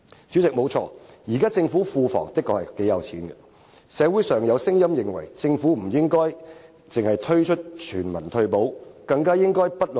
主席，現時政府庫房雖有頗多盈餘，社會上亦有聲音認為政府應不論貧富，推出全民退休保障制度。